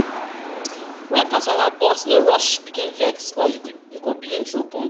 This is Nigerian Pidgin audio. when kasala burst no rush begin vex or begin throw punch